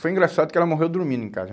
Foi engraçado que ela morreu dormindo em casa.